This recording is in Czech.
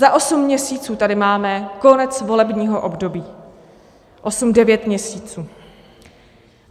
Za osm měsíců tady máme konec volebního období, osm, devět, měsíců.